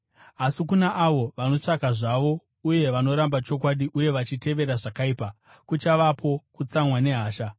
Asi kuna avo vanotsvaka zvavo uye vanoramba chokwadi uye vachitevera zvakaipa, kuchavapo kutsamwa nehasha.